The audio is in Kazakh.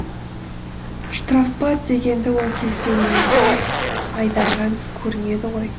штрафбат дегенді ол кезде өлімге айдаған көрінеді ғой